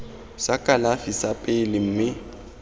sa kalafi sa pele mme